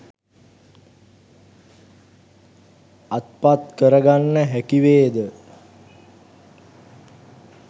අත්පත් කරගන්න හැකිවේද?